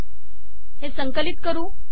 हे मी संकलित करते